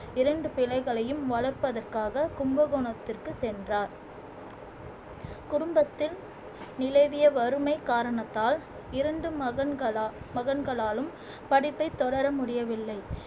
இரண்டு பிள்ளைகளையும் வளர்ப்பதற்காக கும்பகோணத்திற்கு சென்றார் குடும்பத்தில் நிலவிய வறுமை காரணத்தால் இறந்தும் மகன்களா மகன்களாலும் படிப்பை தொடர முடியவில்லை